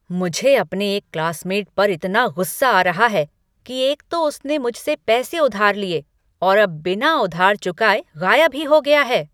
मुझे अपने एक क्लासमेट पर इतना गुस्सा आ रहा है कि एक तो उसने मुझसे पैसे उधार लिए और अब बिना उधार चुकाए गायब ही हो गया है।